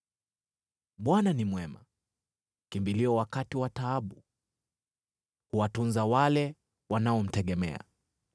Bwana ni Mwema, kimbilio wakati wa taabu. Huwatunza wale wanaomtegemea,